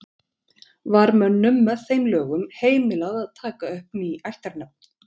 Var mönnum með þeim lögum heimilað að taka upp ný ættarnöfn.